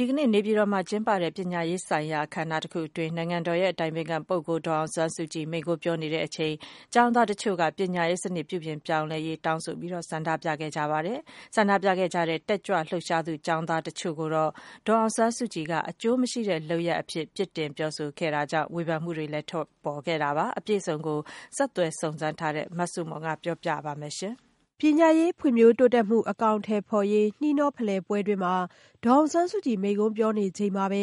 ဒီကနေ့ နေပြည်တော်မှာ ကျင်းပတဲ့ ပညာရေးဆိုင်ရာ အခမ်းအနားတခုအတွင်း နိုင်ငံတော် အတိုင်ပင်ခံပုဂ္ဂိုလ် ဒေါ်အောင်ဆန်းစုကြည် မိန့်ခွန်းပြောနေစဉ် ကျောင်းသားတချို့က ပညာရေးစနစ် ပြုပြင်ပြောင်းလဲရေး တောင်းဆို ဆန္ဒပြခဲ့ကြပါတယ်။ ဆန္ဒပြခဲ့ကြတဲ့ တက်ကြွလှုပ်ရှားသူ ကျောင်းသားတချို့ကိုတော့ ဒေါ်အောင်ဆန်းစုကြည်က အကျိုးမရှိတဲ့ လုပ်ရပ်အဖြစ် ပြစ်တင်ပြောဆိုခဲ့တာကြောင့် ဝေဖန်မှုတွေလည်း ထွက်ပေါ်ခဲ့တာပါ။ အပြည့်အစုံကိုတော့ ဆက်သွယ်စုံစမ်းထားတဲ့ မဆုမွန်က ပြောပြပေးမှာ ဖြစ်ပါတယ်။ ပညာရေးဖွံ့ဖြိုးတိုးတက်မှု အကောင်အထည်ဖော်ရေး နှီးနှောဖလှယ်ပွဲတွင်း ဒေါ်အောင်ဆန်းစုကြည် မိန့်ခွန်းပြောနေချိန်မှာပဲ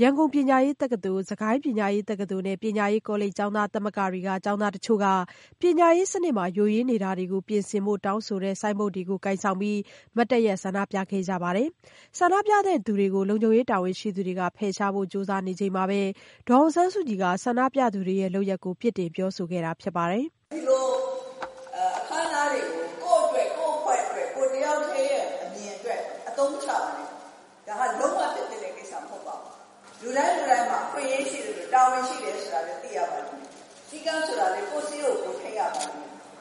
ရန်ကုန်ပညာရေးတက္ကသိုလ် ၊ စစ်ကိုင်းပညာရေးတက္ကသိုလ်နဲ့ ပညာရေးကောလိပ် ကျောင်းသားသမဂ္ဂတွေကကျောင်းသား တချို့က ပညာရေးစနစ်မှာ ယိုယွင်းနေတာတွေကို ပြင်ဆင်ဖို့ တောင်းဆိုတဲ့ ဆိုင်းဘုတ်တွေကို ကိုင်ဆောင်ပြီး မတ်တပ်ရပ် ဆန္ဒပြခဲ့ကြတာပါ။ ဆန္ဒပြသူတွေကို လုံခြုံရေး တာဝန်ရှိသူတွေက ဖယ်ရှားဖို့ ကြိုးစားနေချိန်မှာပဲ ဒေါ်အောင်ဆန်းစုကြည်က ဆန္ဒပြသူတွေရဲ့ လုပ်ရပ်ကို ပြစ်တင်ပြောဆိုခဲ့တာ ဖြစ်ပါတယ်။ “ဒီလိုအခမ်းအနားတွေကို ကိုယ့်အတွက်၊ ကိုယ့်အဖွဲ့အတွက် ၊ ကိုယ်တယောက်တည်းရဲ့ အမြင်အတွက် အသုံးချနေတာ ။ ဒါက လုံးဝဖြစ်သင့်တဲ့ကိစ္စမဟုတ်ပါဘူး။ လူတိုင်းလူတိုင်းမှာ အခွင့်အရေးရှိသလို တာဝန်ရှိတယ်ဆိုတာလည်း သိရမယ်။ စည်းကမ်းဆိုတာကလည်း ကိုယ့်စည်းကို သိရမယ်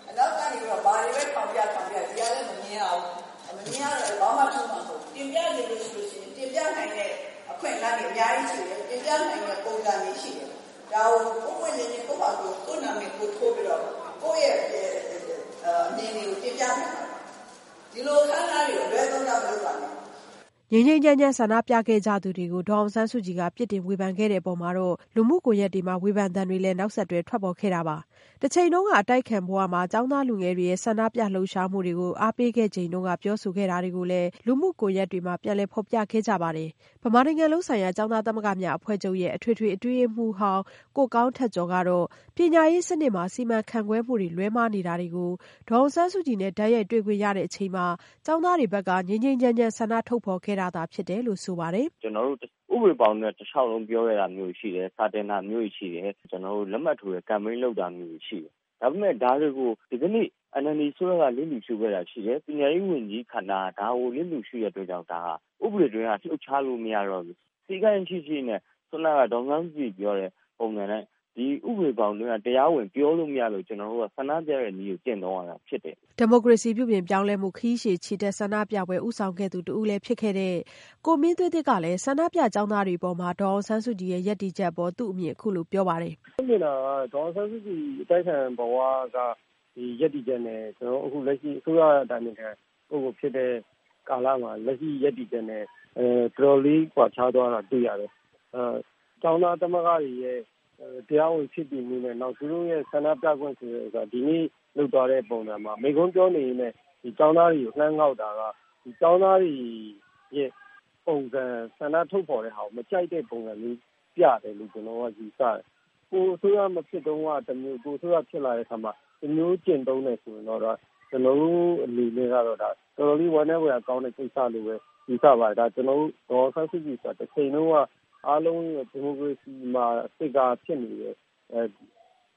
။ အနောက်ကနေပြီးတော့ ဘာတွေပဲ ထောင်ပြထောင်ပြ ဒီကလည်း မမြင်ရဘူး ၊ မမြင်ရတော့ ဘာမှ ထူးမှာမဟုတ်ဘူး။ တင်ပြချင်တယ်ဆိုရင် တင်ပြနိုင်တဲ့ အခွင့်အလမ်းတွေအများကြီးရှိတယ်။ တင်ပြနိုင်တဲ့ ပုံစံတွေရှိတယ်။ ဒါကို ပွင့်ပွင့်လင်းလင်း ကိုယ့်နာမည်တပ်ပြီးတော့ ကိုယ့်အမြင်တွေကို တင်ပြနိုင်ပါတယ်။ ဒီလိုအခမ်းအနားတွေကို အလွဲသုံးစားမလုပ်ပါနဲ့ ။ “ ငြိမ်းငြိမ်းချမ်းချမ်း ဆန္ဒပြခဲ့ကြသူတွေကို ဒေါ်အောင်ဆန်းစုကြည်က ပြစ်တင်ဝေဖန်ခဲ့တဲ့အပေါ် လူမှုကွန်ယက်တွေမှာ ဝေဖန်သံတွေလည်း နောက်ဆက်တွဲ ထွက်ပေါ်ခဲ့တာပါ။ တချိန်က အတိုက်အခံဘဝမှာ ကျောင်းသားလူငယ်တွေရဲ့ ဆန္ဒပြ လှုပ်ရှားမှုတွေကို အားပေးခဲ့ချိန်က ပြောဆိုခဲ့တာတွေကိုလည်း လူမှုကွန်ယက်တွေမှာ ပြန်လည်ဖော်ပြခဲ့ကြပါတယ်။ ဗမာနိုင်ငံလုံးဆိုင်ရာ ကျောင်းသားသမဂ္ဂများအဖွဲ့ချုပ်ရဲ့ အထွေထွေအတွင်းရေးမှူးဟောင်း ကိုကောင်းထက်ကျော်ကတော့ ပညာရေးစနစ်မှာ စီမံခန့်ခွဲမှုတွေ လွဲမှားနေတာတွေကို ဒေါ်အောင်ဆန်းစုကြည်နဲ့ တိုက်ရိုက်တွေ့ခွင့်ရချိန်မှာ ကျောင်းသားတွေက ငြိမ်းငြိမ်းချမ်းချမ်း ဆန္ဒဖော်ထုတ်ခဲ့တာသာဖြစ်တယ်လို့ ဆိုပါတယ်။ “ကျနော်တို့ ဥပဒေဘောင်နဲ့ တလျှောက်လုံးပြောခဲ့တာတွေရှိတယ်။ စာတင်တာတွေရှိတယ်။ လက်မှတ်ထိုးcampaign လုပ်တာတွေရှိတယ်။ ဒါပေမယ့် ဒါတွေကို ဒီကနေ့ NLD အစိုးရက လစ်လျူရှုခဲ့တာရှိတယ်။ ပညာရေးဝန်ကြီးဌာနက ဒါကို လစ်လျူရှုခဲ့တဲ့အတွက်ကြောင့် ဒါဟာ ဥပဒေအတွင်းက လှုပ်ရှားလို့မရတော့လို့ စည်းကမ်းရှိရှိနဲ့ ခုနက ဒေါ်အောင်ဆန်းစုကြည်ပြောတဲ့ ဥပဒေဘောင်အတွင်းက တရားဝင်ပြောလို့မရတော့လို့ ကျနော်တို့က ဆန္ဒပြတဲ့နည်းနဲ့ ကျင့်သုံးရတာဖြစ်တယ်။” ဒီမိုကရေစီပညာရေးပြုပြင်ပြောင်းလဲမှု ခရီးရှည်ချီတက်ဆန္ဒပြပွဲ ဦးဆောင်သူတဦးဖြစ်ခဲ့တဲ့ ကိုမင်းသွေးသစ်ကလည်း ဆန္ဒပြကျောင်းသားတွေအပေါ် ဒေါ်အောင်ဆန်းစုကြည်ရဲ့ ရပ်တည်ချက်အပေါ် သူ့အမြင်ကို အခုလိုပြောပါတယ်။ “ဒေါ်အောင်ဆန်းစုကြည်အတိုက်အခံဘဝက ရပ်တည်ချက်နဲ့ လက်ရှိအစိုးရ အတိုင်ပင်ခံ လက်ရှိရပ်တည်ချက် နဲ့ တော်တော်လေး ကွာခြားသွားတာ တွေ့ရတယ်။ ကျောင်းသားသမဂ္ဂတွေရဲ့ တရားဝင်ဖြစ်တည်မှုနဲ့ နောက်သူတို့ရဲ့ ဆန္ဒပြခွင့်ဆိုတာမှာ ဒီကနေ့ လုပ်သွားတဲ့ ပုံစံမှာ မိန့်ခွန်းပြောနေရင်းနဲ့ ကျောင်းသားတွေကို လှမ်းငေါက်တာက ကျောင်းသားတွေရဲ့ ဆန္ဒထုတ်ဖော်တာကို မကြိုက်တဲ့ ပုံစံပြတယ်လို့ ကျနော်ယူဆတယ်။ ကိုယ်အစိုးရ မဖြစ်တုန်းက တမျိုး ၊ ကိုယ်အစိုးရ ဖြစ်လာတဲ့အခါမှာ တမျိုးကျင့်သုံးတယ်ဆိုရင်တော့ ကျနော်တို့ အနေနဲ့ကတော့ တော်တော်လေး ဝမ်းနည်းဖွယ်ကောင်းတဲ့ ကိစ္စလို့ ယူဆတယ်။ ဒေါ်အောင်ဆန်းစုကြည်ဆိုတာ တချိန်တုန်းက အားလုံးရှေ့မှာ ဒီမိုကရေစီ figure ဖြစ်နေတဲ့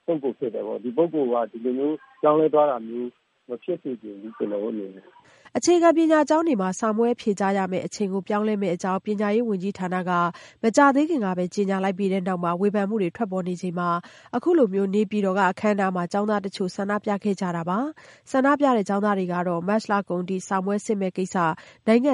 ပုဂ္ဂိုလ်ပေါ့နော် ။ ဒီ ပုဂ္ဂိုလ်က ဒီလိုပြောင်းလဲသွားတာမျိုး မဖြစ်စေချင်ဘူး ကျနော်တို့အနေနဲ့။” ဆန္ဒပြတဲ့ ကျောင်းသားတွေကတော့ မတ်လကုန်အထိ စာမေးပွဲစစ်မည့်ကိစ္စ နိုင်င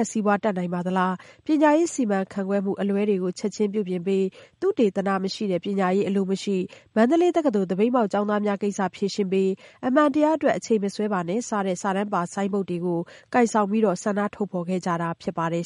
ံ့စီးပွားတက်နိုင်ပါသလား၊ပညာရေးစီမံခန့်ခွဲမှု အလွဲတွေ ချက်ခြင်းပြုပြင်ပေး သုတေသနမရှိတဲ့ ပညာရေးအလိုမရှိ၊ မန္တလေးတက္ကသိုလ် သပိတ်မှောက် ကျောင်းသားများကိစ္စ ဖြေရှင်းပေး၊ အမှန်တရားအတွက် အချိန်မဆွဲပါနဲ့ စတဲ့ဆိုင်းဘုတ်တွေ ကိုင်ဆောင်ဆန္ဒထုတ်ဖော်ခဲ့ကြတာ ဖြစ်ပါတယ်